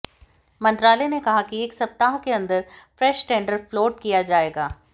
मंत्रालय ने कहा कि एक सप्ताह के अंदर फ्रेश टेंडर फ्लोट किया जाएगा